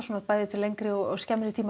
til lengri og skemmri tíma